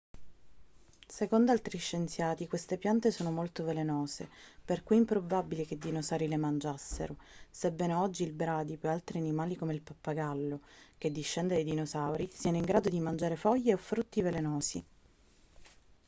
secondo altri scienziati queste piante sono molto velenose per cui è improbabile che i dinosauri le mangiassero sebbene oggi il bradipo e altri animali come il pappagallo che discende dai dinosauri siano in grado di mangiare foglie o frutti velenosi